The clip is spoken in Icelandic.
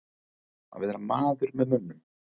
Að vera maður með mönnum